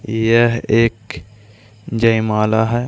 यह एक जयमाला है।